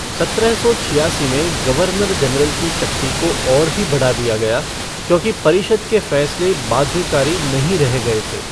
सत्रह सौ छियासी में, गवर्नर जनरल की शक्ति को और भी बढ़ा दिया गया, क्योंकि परिषद् के फैसले बाध्यकारी नहीं रह गए थे।